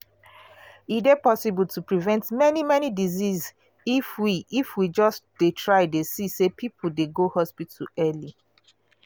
e dey possible to prevent many many diseases if we if we just dey try dey see say people dey go hospital early.